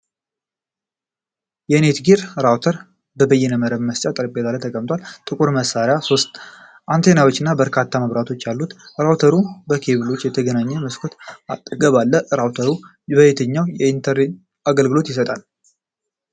የኔትጊር ራውተር (በይነመረብ ማሰራጫ) ጠረጴዛ ላይ ተቀምጧል። ጥቁር መሳሪያው ሶስት አንቴናዎች እና በርካታ መብራቶች አሉት። ራውተሩ በኬብሎች ተገናኝቶ በመስኮት አጠገብ አለ። ራውተሩ በየትኛው የኢንተርኔት አገልግሎት ይሰራል?